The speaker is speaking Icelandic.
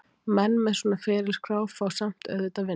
Menn með svona ferilskrá fá samt auðvitað vinnu.